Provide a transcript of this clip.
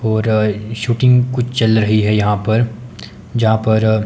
और ये शूटिंग कुछ चल रही है यहां पर यहां पर--